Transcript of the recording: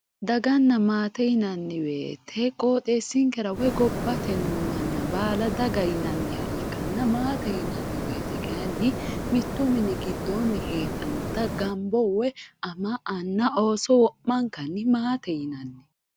Daganna maate yinanniwoyite qooxeessinkera woyi gabbate noo manna baala daga yonanniha ikkanna baalu maate yinanniwoyite kayinni mittu mini giddoonni heedhannota gambo woyi ama anna ooso wo'mankanni maatete yinanni.